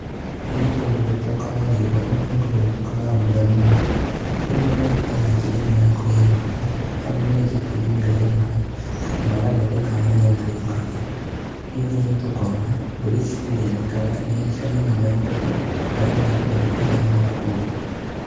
Gũkũ nĩ kũndũ gũtokaga mbura mũno, rĩu mokĩte na njĩra ĩmwe ya kũgĩa maaĩ, harĩa menjete irima rĩa maaĩ na magathondeka harĩa maaĩ marĩũkaga ningĩ nĩtũkuona mbũri citithĩnĩkaga nĩcionaga maaĩ makũigana ma kũnyua.